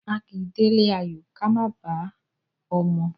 A kì í délé ayò ká má bàá ọmọ.